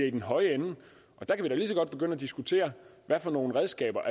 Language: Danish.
i den høje ende og at diskutere hvad for nogle redskaber